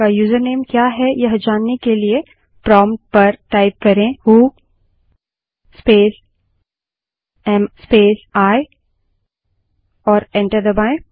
आपका यूज़रनेम क्या है यह जानने के लिए प्रोम्प्ट पर who space am space I टाइप करें और एंटर दबायें